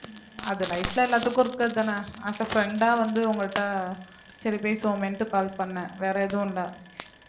அது life ல எல்லாத்துக்கும் இருக்கிறதுதானே as a friend ஆ வந்து உங்கள்ட்ட சரி பேசுவோமேன்னுட்டு call பண்ணேன் வேற எதுவும் இல்ல